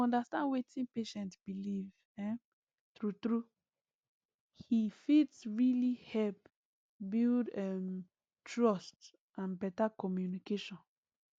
to understand wetin patient believe um true true he fit really help build um trust and better communication